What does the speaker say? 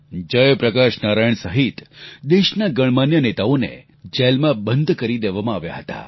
જયપ્રકાશ નારાયણ સહિત દેશના ગણમાન્ય નેતાઓને જેલમાં બંધ કરી દેવામાં આવ્યા હતા